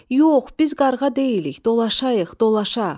"Yox, biz qarğa deyilik, dolaşayıq, dolaşa."